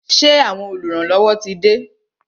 Ṣé àwọn oluranlowo tí de?